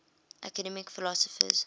academic philosophers